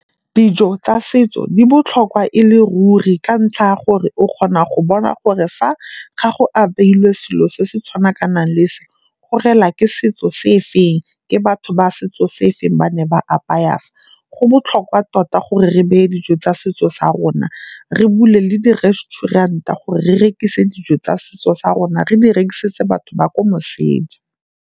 Dijo tsa setso di botlhokwa e le ruri ka ntlha ya gore o kgona go bona gore fa gago apeilwe selo se se tshwana ka nang le se go rela ke setso se feng, ke batho ba setso se se feng ba ne ba apaya. Fa go botlhokwa tota gore re beye dijo tsa setso sa rona, re bule le di-resturent-a gore re rekisa dijo tsa setso sa rona re di rekisetse batho ba ko moseja.